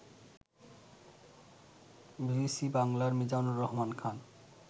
BBC বাংলার মিজানুর রহমান খান